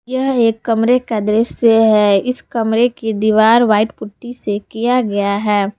यह एक कमरे का दृश्य है इस कमरे की दीवार व्हाइट पुट्टी से किया गया है।